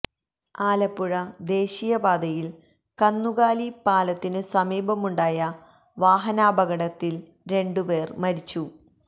ആലപ്പുഴ ദേശീയ പാതയിൽ കന്നു കാലി പാലത്തിനു സമീപമുണ്ടായ വാഹനാപകടത്തിൽ രണ്ടു പേർ മരിച്ചു